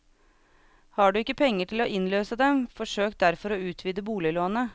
Har du ikke penger til å innløse dem, forsøk derfor å utvide boliglånet.